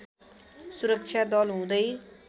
सुरक्षा दल हुँदै